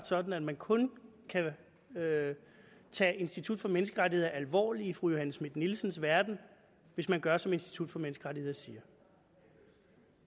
sådan at man kun kan tage tage institut for menneskerettigheder alvorligt i fru johanne schmidt nielsens verden hvis man gør som institut for menneskerettigheder siger